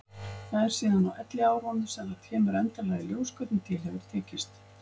Það er síðan á elliárunum sem það kemur endanlega í ljós hvernig til hefur tekist.